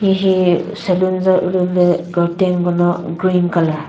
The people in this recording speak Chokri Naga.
hihi salon za ulülü curtain kono green colour.